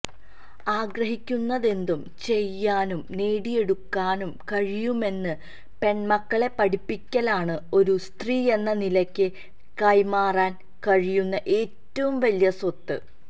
ആഗ്രഹിക്കുന്നതെന്തും ചെയ്യാനും നേടിയെടുക്കാനും കഴിയുമെന്ന് പെണ്മക്കളെ പഠിപ്പിക്കലാണ് ഒരു സ്ത്രീയെന്ന നിലയ്ക്ക് കൈമാറാന് കഴിയുന്ന ഏറ്റവും വലിയ സ്വത്ത്